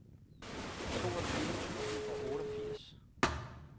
toogtyve tusind og otteogfirs